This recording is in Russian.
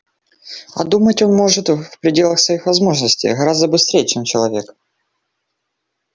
а думать он может в пределах своих возможностей гораздо быстрее чем человек